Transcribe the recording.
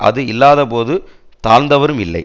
அது இல்லாதபோது தாழ்ந்தவரும் இல்லை